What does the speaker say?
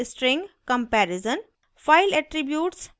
string comparison file attributes